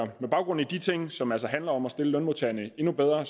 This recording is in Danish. baggrund i de ting som altså handler om at stille lønmodtagerne endnu bedre